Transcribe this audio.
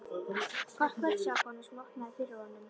Gott kvöld sagði konan sem opnaði fyrir honum.